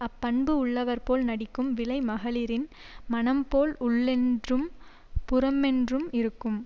அப்பண்பு உள்ளவர் போல் நடிக்கும் விலை மகளிரின் மனம்போல் உள்ளென்றும் புறமொன்றும் இருக்கும்